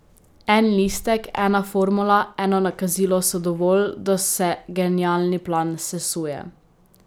En listek, ena formula, eno nakazilo so dovolj, da se genialni plan sesuje.